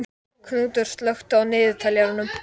Knútur, slökktu á niðurteljaranum.